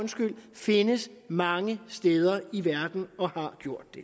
findes mange steder i verden og har gjort det